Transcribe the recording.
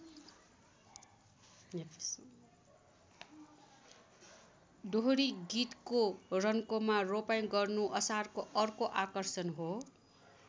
दोहोरी गीतको रन्कोमा रोपाइँ गर्नु असारको अर्को आकर्षण हो।